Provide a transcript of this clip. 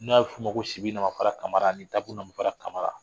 N'a bu f'u ma ko sibi nafafara kamara ani dagun nafafara kamara.